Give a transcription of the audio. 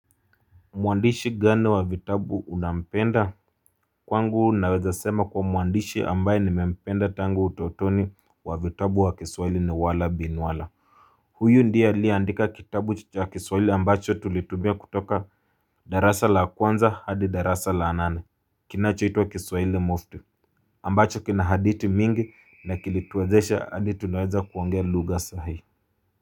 Mwandishi gani wa vitabu unampenda? Kwangu naweza sema kwa mwandishi ambaye nimependa tangu utotoni wa vitabu wa kiswaili ni wala Bin wala Huyu ndiye aliyeandika kitabu cha kiswaili ambacho tulitumia kutoka darasa la kwanza hadi darasa la nane kinachoitwa kiswaili Mufti ambacho kina hadithi mingi na kilituwezesha hadi tunaweza kuangea lugha sahihi.